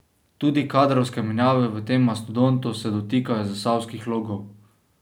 Tudi kadrovske menjave v tem mastodontu se dotikajo zasavskih logov.